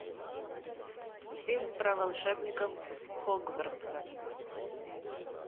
фильм про волшебников хогвартса